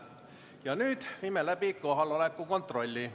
Ja nüüd viime läbi kohaloleku kontrolli.